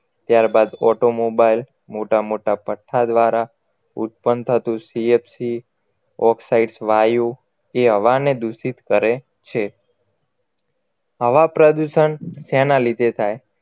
ત્યારબાદ automobile મોટા મોટા ભઠ્ઠા દ્વારા ઉત્પન્ન થતું CFC oxide વાયુ એ હવા ને દૂષિત કરે છે હવા પ્રદુષણ શેના લીધે થાય